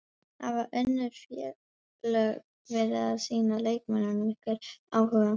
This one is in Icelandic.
Hafa önnur félög verið að sýna leikmönnum ykkar áhuga?